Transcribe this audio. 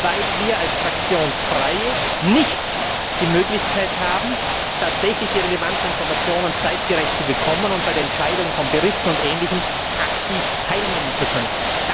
Weil wir als Fraktionslose nicht die Möglichkeit haben, die relevanten Informationen tatsächlich zeitgerecht zu bekommen und bei der Entscheidung über Berichte und Ähnliches aktiv teilnehmen zu können.